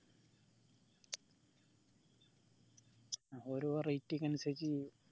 ഒരു variety ക്ക് അനുസരിച്ച് ചെയ്യും